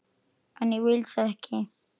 En ég vil það ekki.